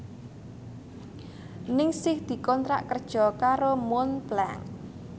Ningsih dikontrak kerja karo Montblanc